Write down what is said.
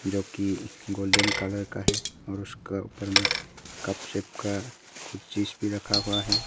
जो कि golden colour का है और उसका ऊपर में कप शेप का है कुछ चीज भी रखा हुआ है।